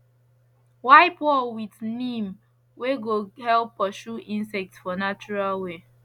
wipe wall with neem wey go help pursue insects for natural way